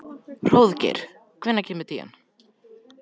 Hróðgeir, hvenær kemur tían?